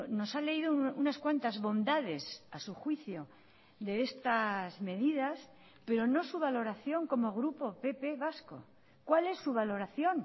nos ha leído unas cuantas bondades a su juicio de estas medidas pero no su valoración como grupo pp vasco cuál es su valoración